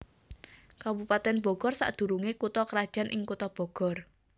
Kabupatèn Bogor sadurungé kutha krajan ing Kutha Bogor